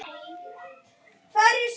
Það er tröll.